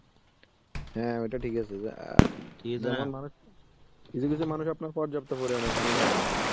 হ্যাঁ ওটা ঠিক আছে অ্যাঁ. কিছু কিছু মানুষ আপনার পর্যাপ্ত পরিমাণে পানি খায় না.